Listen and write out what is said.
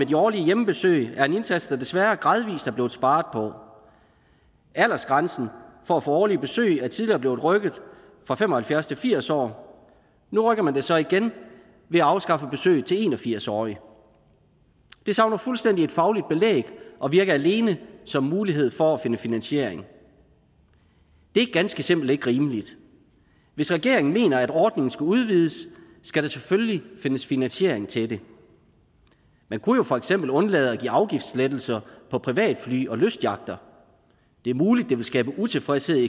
de årlige hjemmebesøg er en indsats der desværre gradvis er blevet sparet på aldersgrænsen for at få årlige besøg er tidligere blev rykket fra fem og halvfjerds år til firs år og nu rykker man den så igen ved at afskaffe besøg til de en og firs årige det savner fuldstændig et fagligt belæg og virker alene som en mulighed for at finde finansiering det er ganske simpelt ikke rimeligt hvis regeringen mener at ordningen skal udvides skal der selvfølgelig findes finansiering til det man kunne jo for eksempel undlade at give afgiftslettelser på privatfly og lystyachter det er muligt at det ville skabe utilfredshed